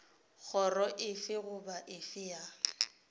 kgoro efe goba efe ya